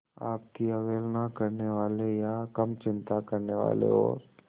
आपकी अवहेलना करने वाले या कम चिंता करने वाले और